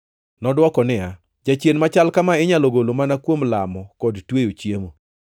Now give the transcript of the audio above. Nodwoko niya, “Jachien machal kama inyalo golo mana kuom lamo kod tweyo chiemo.”